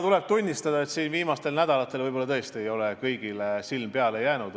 Tuleb tunnistada, et viimastel nädalatel ei ole mu silm kõigile peale jäänud.